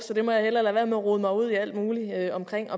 så jeg må hellere lade være med at rode mig ud i alt muligt omkring